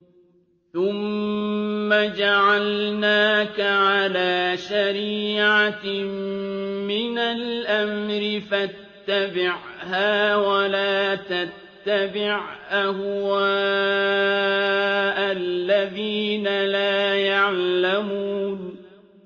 ثُمَّ جَعَلْنَاكَ عَلَىٰ شَرِيعَةٍ مِّنَ الْأَمْرِ فَاتَّبِعْهَا وَلَا تَتَّبِعْ أَهْوَاءَ الَّذِينَ لَا يَعْلَمُونَ